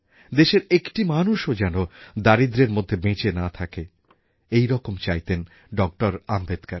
দেশের একটি মানুষও যেন দারিদ্র্যের মধ্যে বেঁচে না থাকে এইরকম চাইতেন ডক্টর আম্বেদকর